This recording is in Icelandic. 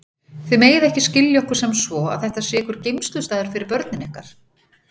Þið megið ekki skilja okkur sem svo að þetta sé einhver geymslustaður fyrir börnin ykkar.